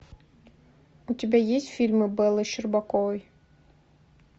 у тебя есть фильмы беллы щербаковой